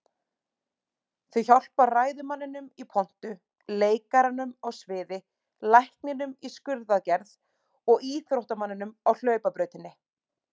Þau hjálpa ræðumanninum í pontu, leikaranum á sviði, lækninum í skurðaðgerð, og íþróttamanninum á hlaupabrautinni.